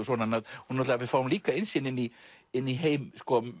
við fáum líka innsýn inn í inn í heim